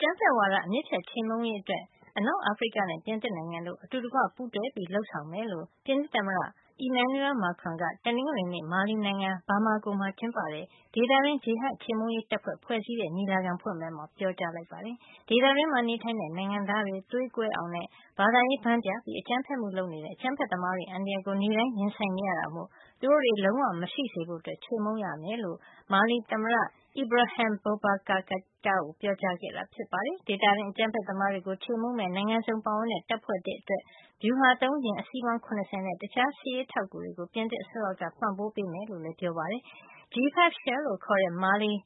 ကြမ်းဖက်ဝါဒ အမြစ်ဖြတ်ခြေမှုန်းရေးအတွက် အနောက်အာဖရိကနဲ့ ပြင်သစ်နိုင်ငံတို့ အတူတကွ ပူးတွဲလုပ်ဆောင်ကြမယ်လို့ ပြင်သစ်သမ္မတ Emmanuel Macron က တနင်္ဂနွေနေ့ မာလီနိုင်ငံ Bamako မှာကျင်းပတဲ့ ဒေသတွင်း ဂျီဟတ်ခြေမှုန်းရေးတပ်ဖွဲ့ ဖွဲ့စည်းတဲ့ ညီလာခံဖွင့်ပွဲမှာ ပြောကြား လိုက်ပါတယ်။ ဒီဒေသတွင်းမှာ နေထိုင်တဲ့ နိုင်ငံသားတွေ သွေးကွဲအောင်နဲ့ ဘာသာရေး ဘန်းပြပြီး အကြမ်းဖက်မှုတွေ လုပ်နေတဲ့ အကြမ်းဖက်သမားတွေရဲ့ အန္တရာယ်ကို နေ့တိုင်း ရင်ဆိုင်နေရတာမို့ သူတို့တွေ လုံးဝ မရှိစေဖို့ ချေမှုန်းရမှာ ဖြစ်ကြောင်း မာလီသမ္မတ Ibrahim Boubacar Keita ကို ပြောကြားခဲ့တာဖြစ်ပါတယ်။ ဒေသတွင်း အကြမ်းဖက်သမားတွေကို ချေမှုန်းမယ့် နိုင်ငံစုံပါဝင်တဲ့ တပ်ဖွဲ့သစ်အတွက် ဗျူဟာသုံးယာဉ် အစီးပေါင်း ၇၀ နဲ့ တခြား စစ်ရေး အထောက်အကူတွေကို ပြင်သစ် အစိုးရက ပံ့ပိုးပေးမှာ ဖြစ်ကြောင်းလည်း ပြောပါတယ်။ G5 Sahel လို့ခေါ်တဲ့ မာလီ၊